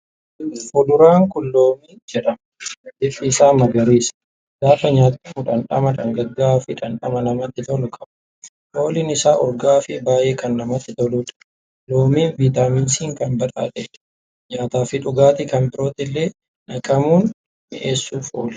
Fuduraan kun Loomii jedhama. Bifti isaa magariisadha. Gaafa nyaatamu dhandhama dhangaggawaafi dhandhama namatti tolu qaba. Fooliin isaa urgaa'aafii baay'ee kan namatti toludha. Loomiin Vitaaminii C'n kan badhaadhedha. Nyaata fi dhugaatii kan biroottillee naqamuun mi'eessuf oola.